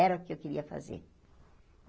Era o que eu queria fazer.